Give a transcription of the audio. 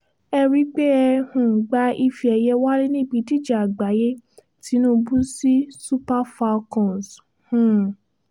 ẹ rí pé ẹ um gba ife ẹ̀yẹ wálé níbi ìdíje àgbáyé tinubu sí super falcons um